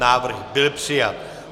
Návrh byl přijat.